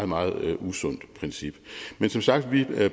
meget usundt princip men som sagt